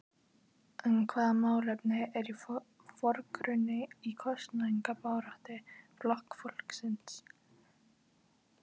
En hvaða málefni eru í forgrunni í kosningabaráttu Flokks fólksins?